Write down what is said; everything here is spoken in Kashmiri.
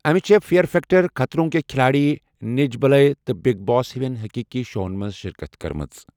أمہِ چھےٚ فِیَر فیٚکٹر خطروں کے کِھلاڑی، نچ بٔلِیے، تہٕ بِگ باس ہِویٚن حٔقیٖقی شووَن منٛز شِرکت کٔرمٕژ